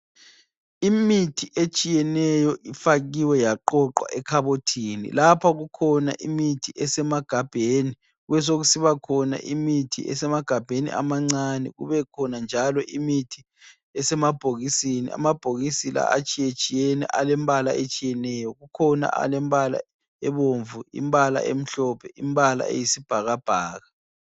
Imithi etshiyeneyo ifakiwe yaqoqwa ekhabothini. Lapha kukhona imithi esemagabheni kubesokusiba khona imithi esemagabheni amancane , kube khona njalo imithi esemabhokisini. Amabhokisi la atshiyetshiyene alembala etshiyeneyo. Kukhona alembala ebomvu, imbala emhlophe, imbala eyisibhakabhaka.